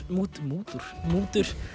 mútur mútur mútur